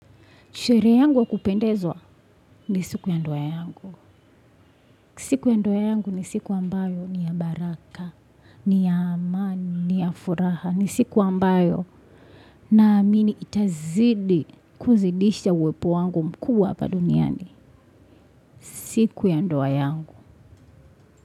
Sherehe yangu wa kupendezwa ni siku ya ndoa yangu. Siku ya ndoa yangu ni siku ambayo ni ya baraka, ni ya amani, ni ya furaha. Ni siku ambayo naamini itazidi kuzidisha uwepo wangu mkubwa hapa duniani. Siku ya ndowa yangu.